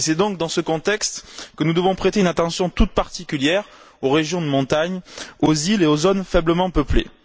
C'est donc dans ce contexte que nous devons prêter une attention toute particulière aux régions de montagne, aux îles et aux zones faiblement peuplées.